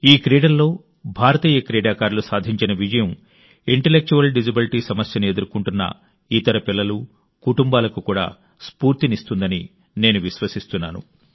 ఈ క్రీడల్లో భారతీయ క్రీడాకారులు సాధించిన విజయం ఇంటలెక్చువల్ డిసెబిలిటీ సమస్యను ఎదుర్కొంటున్న ఇతర పిల్లలు కుటుంబాలకు కూడా స్ఫూర్తినిస్తుందని నేను విశ్వసిస్తున్నాను